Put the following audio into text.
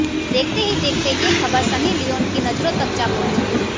देखते ही देखते ये खबर सनी लियोन की नजरों तक जा पहुंची